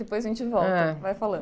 Depois a gente volta.h..ai falando.